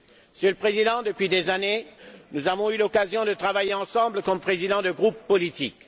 Monsieur le Président, depuis des années, nous avons eu l'occasion de travailler ensemble comme présidents de groupes politiques.